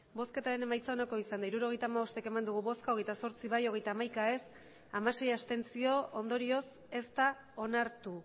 emandako botoak hirurogeita hamabost bai hogeita zortzi ez hogeita hamaika abstentzioak hamasei ondorioz ez da onartu